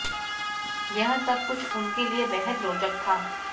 यह सब कुछ उनके लिए बेहद रोचक था